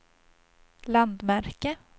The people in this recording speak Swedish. landmärke